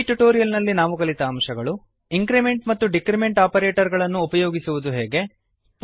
ಈ ಟ್ಯುಟೋರಿಯಲ್ ನಲ್ಲಿ ನಾವು ಕಲಿತ ಅಂಶಗಳು160 ಇಂಕ್ರಿಮೆಂಟ್ ಮತ್ತು ಡಿಕ್ರಿಮೆಂಟ್ ಆಪರೇಟರ್ ಗಳನ್ನು ಉಪಯೋಗಿಸುವುದು ಹೇಗೆ